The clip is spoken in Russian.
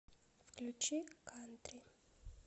включи кантри